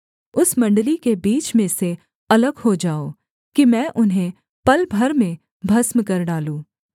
उस मण्डली के बीच में से अलग हो जाओ कि मैं उन्हें पल भर में भस्म कर डालूँ